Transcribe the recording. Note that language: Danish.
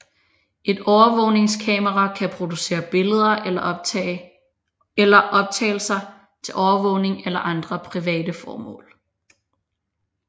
Et overvågningskamera kan producere billeder eller optagelser til overvågning eller andre private formål